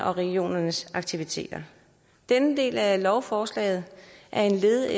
og regionernes aktiviteter denne del af lovforslaget er et led